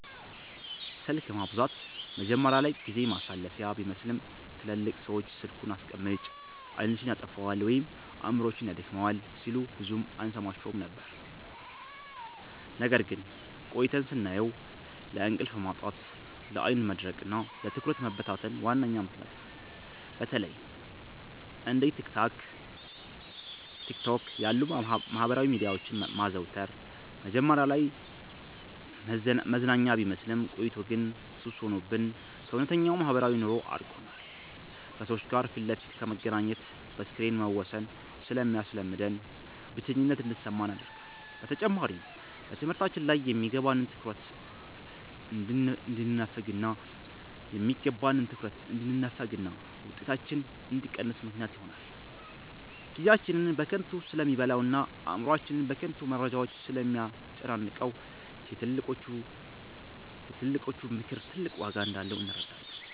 ስልክ ማብዛት መጀመሪያ ላይ ጊዜ ማሳለፊያ ቢመስልም፣ ትላልቅ ሰዎች "ስልኩን አስቀምጪ፣ ዓይንሽን ያጠፋዋል ወይም አእምሮሽን ያደክመዋል" ሲሉን ብዙም አንሰማቸውም ነበር። ነገር ግን ቆይተን ስናየው ለእንቅልፍ ማጣት፣ ለዓይን መድረቅና ለትኩረት መበታተን ዋነኛ ምክንያት ነው። በተለይ እንደ ቲክቶክ ያሉ የማህበራዊ ሚዲያዎችን ማዘውተር መጀመሪያ ላይ መዝናኛ ቢመስልም፣ ቆይቶ ግን ሱስ ሆኖብን ከእውነተኛው ማህበራዊ ኑሮ አራርቆናል። ከሰዎች ጋር ፊት ለፊት ከመገናኘት በስክሪን መወሰንን ስለሚያስለምደን፣ ብቸኝነት እንዲሰማን ያደርጋል። በተጨማሪም በትምህርታችን ላይ የሚገባንን ትኩረት እንድንነፈግና ውጤታችን እንዲቀንስ ምክንያት ይሆናል። ጊዜያችንን በከንቱ ስለሚበላውና አእምሮአችንን በከንቱ መረጃዎች ስለሚያጨናንቀው፣ የትልቆቹ ምክር ትልቅ ዋጋ እንዳለው እንረዳለን።